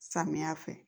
Samiya fɛ